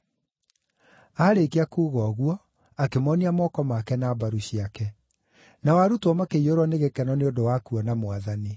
Aarĩkia kuuga ũguo akĩmoonia moko make na mbaru ciake. Nao arutwo makĩiyũrwo nĩ gĩkeno nĩ ũndũ wa kuona Mwathani.